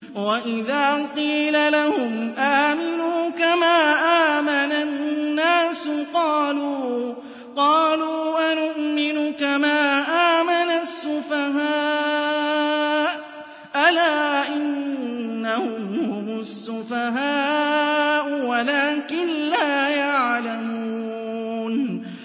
وَإِذَا قِيلَ لَهُمْ آمِنُوا كَمَا آمَنَ النَّاسُ قَالُوا أَنُؤْمِنُ كَمَا آمَنَ السُّفَهَاءُ ۗ أَلَا إِنَّهُمْ هُمُ السُّفَهَاءُ وَلَٰكِن لَّا يَعْلَمُونَ